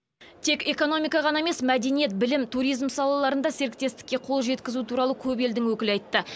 тек экономика ғана емес мәдениет білім туризм салаларында серіктестікке қол жеткізу туралы көп елдің өкілі айтты